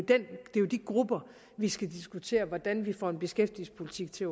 de grupper vi skal diskutere hvordan vi får en beskæftigelsespolitik til